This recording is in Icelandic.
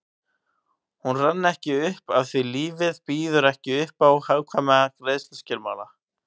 Hún rann ekki upp afþví lífið býður ekki uppá hagkvæma greiðsluskilmála